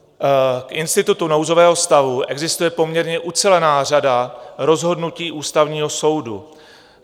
K institutu nouzového stavu existuje poměrně ucelená řada rozhodnutí Ústavního soudu.